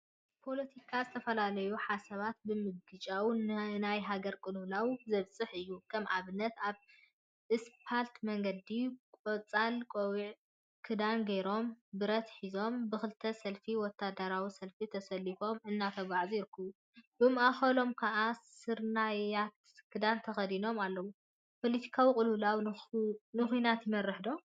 ፖለቲካ ዝተፈላለዩ ሓሳባት ብምግጫው ንናይ ሃገር ቅልውላው ዘብፅሕ እዩ፡፡ ከም አብነት አብ እስፓልት መንገዲ ቆፃል ቆቢዕንክዳንን ገይሮም ብረት ሒዞም ብክልተ ሰልፊ ወታደራዊ ሰልፊ ተሰሊፎም እናተጓዓዙ ይርከቡ፡፡ ብማእከሎም ከዓ ስርናየታይ ክዳን ተከዲኑ አሎ፡፡ ፖለቲካዊ ቅልውላው ንኩናት ይመርሕ ዶ?